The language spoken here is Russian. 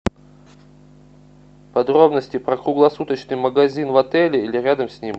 подробности про круглосуточный магазин в отеле или рядом с ним